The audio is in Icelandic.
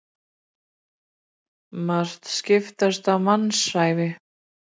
Margt skipast á mannsævi.